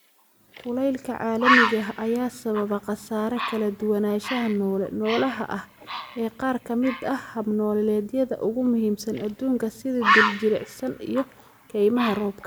Kulaylka caalamiga ah ayaa sababa khasaare kala duwanaanshaha noole noolaha ah ee qaar ka mid ah hab-nololeedyada ugu muhiimsan adduunka, sida dhir-jilicsan iyo kaymaha roobka.